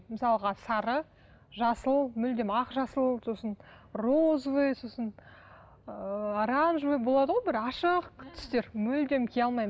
мысалға сары жасыл мүлдем ақ жасыл сосын розовый сосын ы оранжевый болады ғой бір ашық түстер мүлдем кие алмаймын